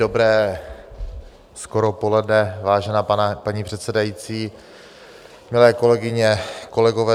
Dobré skoro poledne, vážená paní předsedající, milé kolegyně, kolegové.